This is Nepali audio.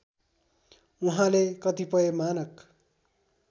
उहाँले कतिपय मानक